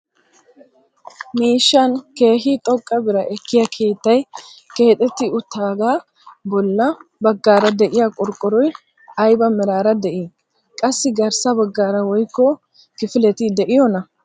Miishshan keehi xoqqa biraa ekkiyaa keettay keexetti uttidaagee bolla baggaara de'iyaa qorqqoroy ayba meraara de'ii? qassi garssa baggaara woysu kifileti de'iyoonaa?